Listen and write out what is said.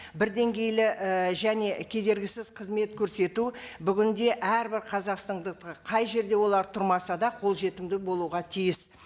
бір деңгейлі і және кедергісіз қызмет көрсету бүгінде әрбір қазақстандыққа қай жерде олар тұрмаса да қолжетімді болуға тиіс